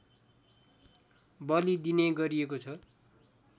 बलिदिने गरिएको छ